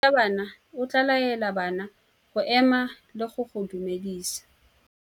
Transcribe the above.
Morutabana o tla laela bana go ema le go go dumedisa.